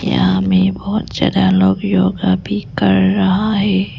यहां में बहुत ज्यादा लोग योगा भी कर रहा।